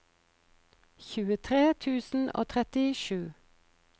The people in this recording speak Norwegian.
tjuetre tusen og trettisju